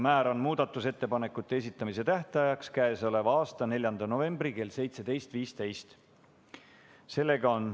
Määran muudatusettepanekute esitamise tähtajaks k.a 4. novembri kell 17.15.